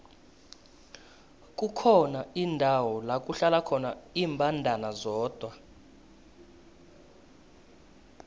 kukhona indawo lakuhlala khona imbandana zodwa